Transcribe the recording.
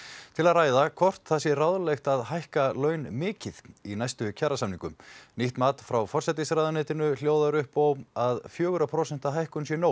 til að ræða hvort það sé ráðlegt að hækka laun mikið í næstu kjarasamningum nýtt mat frá forsætisráðuneytinu hljóðar upp á að fjögurra prósenta hækkun sé nóg